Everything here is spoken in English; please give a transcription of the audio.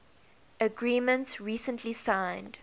agreement recently signed